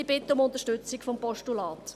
Ich bitte um Unterstützung des Postulats.